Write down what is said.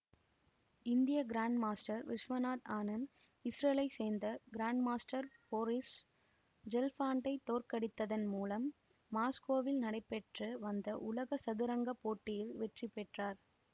இந்திய grand master Viswanathan Anand இசுரேலை சேர்ந்த கிராண்ட்மாஸ்டர் போரிஸ் ஜெல்ஃபான்டை தோற்கடித்ததன் மூலம் மாஸ்கோவில் நடைபெற்று வந்த உலக சதுரங்க போட்டியில் வெற்றி பெற்றார்